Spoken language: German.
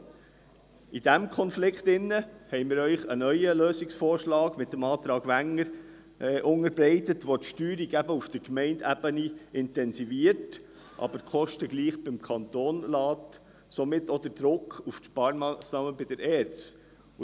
Wegen dieses Konflikts haben wir Ihnen mit dem Antrag Wenger einen neuen Lösungsvorschlag unterbreitet, der die Steuerung auf Gemeindeebene intensiviert, aber die Kosten trotzdem beim Kanton belässt und somit auch den Druck auf die Sparmassnahmen bei der ERZ aufrechterhält.